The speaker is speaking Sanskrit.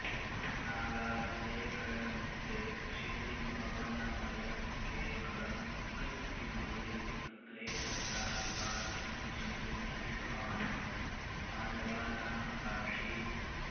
नागास्त्रे कर्णमुक्ते क्षितिमवनमयन्केवलं कृत्तमौलिं तत्रे तत्रापि पार्थं किमिव न हि भवान् पाण्डवानामकार्षीत्